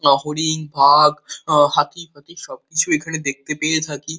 লহরী বাগ হাতি ফাতি সবকিছুই এখানে দেখতে পেয়ে থাকি।